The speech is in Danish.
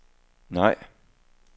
nej